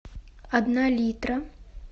одна литра